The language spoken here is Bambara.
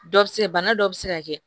Dɔ bɛ se bana dɔ bɛ se ka kɛ